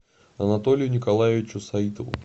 анатолию николаевичу саитову